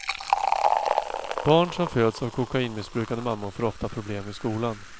Barn som föds av kokainmissbrukande mammor får ofta problem i skolan.